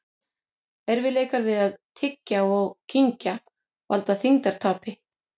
Erfiðleikar við að tyggja og kyngja valda þyngdartapi.